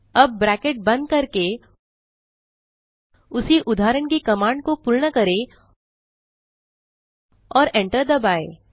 अब ब्रैकेट बंद करके उसी उदाहरण की कमांड को पूर्ण करें और एंटर दबाएँ